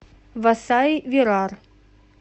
васаи вирар